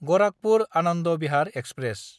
गराखपुर–आनन्द Bihar express